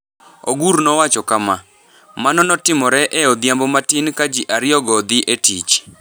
Ogur nowacho kama: “Mano notimore e odhiambo matin ka ji ariyogo dhi e tich.”